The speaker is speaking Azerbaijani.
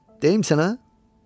Deyim sənə?